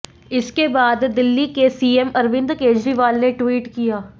इसके बाद दिल्ली के सीएम अरविंद केजरीवाल ने ट्वीट किया